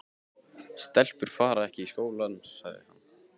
Stelpur fara ekki í skóla, sagði hann.